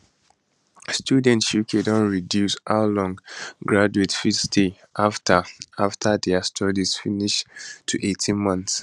students uk don reduce how long graduates go fit stay afta afta dia studies finish to 18 months